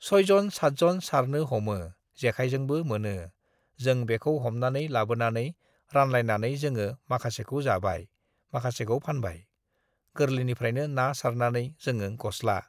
"सयजन-सातजन सारनो, हमो जेखाइजोंबो मोनो। जेों बेखौ हमनानै लाबोनानै रानलायनानै जोङो माखासेखौ जाबाय, माखासेखौ फानबाय। गोरलैनिफ्रायनो ना सारनानै जोङो गस्ला,"